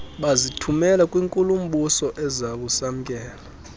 bazithumela kwinkulu mbusoezakusamkela